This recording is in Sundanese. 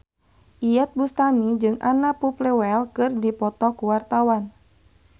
Iyeth Bustami jeung Anna Popplewell keur dipoto ku wartawan